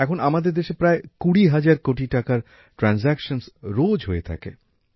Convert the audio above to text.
এখন আমাদের দেশে প্রায় কুড়ি হাজার কোটি টাকার আর্থিক লেনদেন রোজ হয়ে থাকে